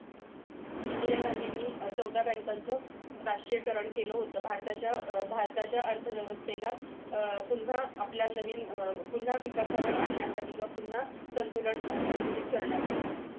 इंदिरा गांधीनी चौदा बँकांच राष्ट्रीयीकरण केलं होतं भारताच्या अह भारताच्या अर्थव्यवस्थेला अह पुन्हा आपल्या नवीन अह पुन्हा विकासावर आणण्यासाठी तुला पुन्हा संतुलन अह संचलित करण्यासाठी